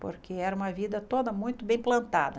Porque era uma vida toda muito bem plantada.